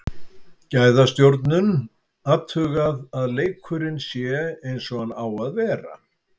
Gæðastjórnun, athugað að leikurinn sé eins og hann á að vera.